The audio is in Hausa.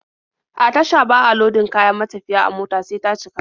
A tasha ba a lodin kayan matafiya a mota sai ta cika.